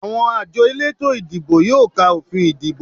Àwọn àjọ elétò ìdìbò yóò ka òfin ìdìbò